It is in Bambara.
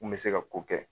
Mun bɛ se ka ko kɛ